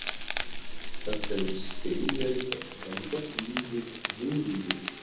Það hefur steinn verið að ganga niður, mulningur.